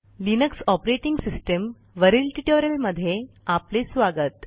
Linux operating सिस्टीमवरील ट्युटोरियलमध्ये आपले स्वागत